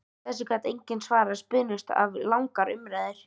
Þessu gat enginn svarað og spunnust af langar umræður.